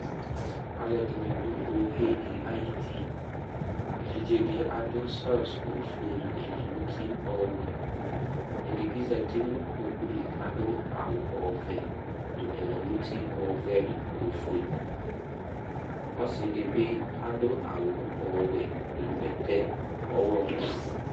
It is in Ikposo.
Alʋɛdìní ɖu wohe ɖi ayʋti Evidze ɖi aɖu shirt ɔfʋe ŋu ɛlɛnuti ɔwɛ Ɛɖi bi ɔɖu kpoku li kʋ aɖu awu ɔvɛ ŋu ɛlɛnuti ɔvɛ ŋu ɔfʋe Ɔsiɖi bi aɖu awu ɔwɛ ŋu bɛtɛ ɔwlɔmɔ